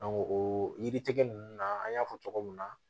o yiritigɛ ninnu na an y'a fɔ cogo min na